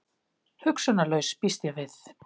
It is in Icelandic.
Hugsunarlaus, býst ég við.